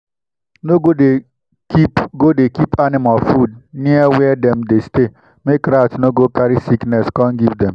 no go dey keep go dey keep animal food near where dem dey stay make rat no go carry sickness come give dem